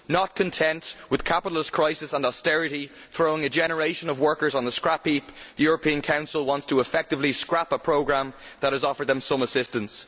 Not content with the capitalist crisis and austerity throwing a generation of workers on the scrapheap, the European Council wants to effectively scrap a programme that has offered them some assistance.